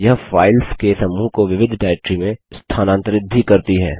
यह फाइल्स के समूह को विविध डाइरेक्टरी में स्थानांतरित भी करती है